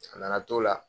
A nana t'o la